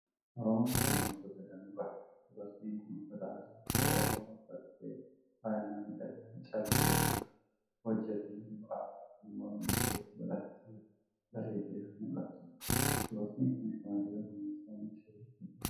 Oromoon sabboontota danuu qaba. Dubartiin kun uffata aadaa saba Oromoo uffattee, faaya miidhaginaa callee irraa hiojjetamee jiru addaa fi morma isheetti godhattee bareeddee kan mul'attudha. Dubartiin kun shamarree Oromoo ta'uun ishee ifaadha!